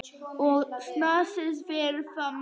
Og sans fyrir mat.